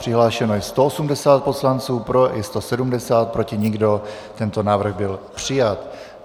Přihlášeno je 180 poslanců, pro je 170, proti nikdo, tento návrh byl přijat.